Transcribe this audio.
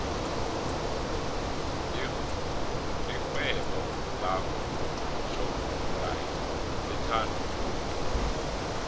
ixhewebo lakwo shopxathi lithandwa khulu